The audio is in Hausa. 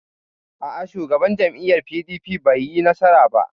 A'a, Shugaban jam'iyyar PDP bai yi nasara ba.